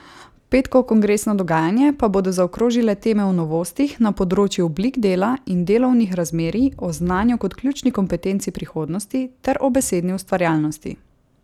Petkovo kongresno dogajanje pa bodo zaokrožile teme o novostih na področju oblik dela in delovnih razmerij, o znanju kot ključni kompetenci prihodnosti ter o besedni ustvarjalnosti.